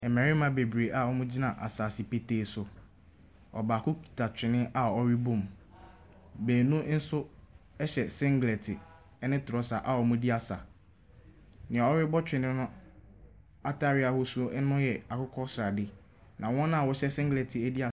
Mmarima bebree a wɔn gyina asaase petee so. Ɔbaako kuta twene a ɔrebɔ mu. Mmienu nso ɛhyɛ singlɛt ɛne trɔsa a wɔn redi asa. Nea ɔrebɔ twene no ataareɛ ahosuo no yɛ akokɔsradeɛ.